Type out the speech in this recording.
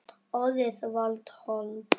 Orðið varð hold.